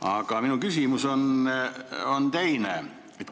Aga minu küsimus on teine.